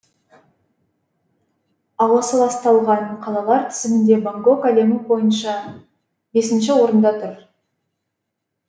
ауасы ласталған қалалар тізімінде бангкок әлемі бойынша бесінші орында тұр